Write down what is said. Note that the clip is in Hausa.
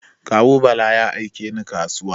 Kawu Bala ya aike ni kasuwa.